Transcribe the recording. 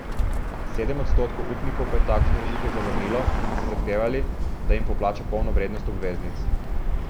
Sedem odstotkov upnikov pa je takšno rešitev zavrnilo in so zahtevali, da jim poplača polno vrednost obveznic.